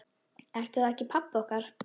Ertu þá ekki pabbi okkar?